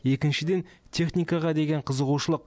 екіншіден техникаға деген қызығушылық